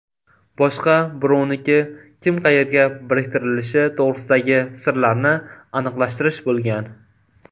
Boshqa birovniki kim qayerga biriktirilishi to‘g‘risidagi sirlarni aniqlashtirish bo‘lgan.